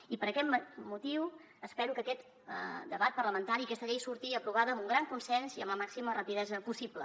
i per aquest motiu espero que aquest debat parlamentari aquesta llei surti aprovada amb un gran consens i amb la màxima rapidesa possible